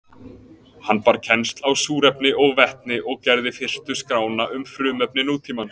Hann bar kennsl á súrefni og vetni og gerði fyrstu skrána um frumefni nútímans.